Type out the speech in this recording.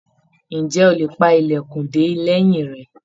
Ǹjẹ́ ó lè pa ilẹkun de lẹ́yìn rẹ?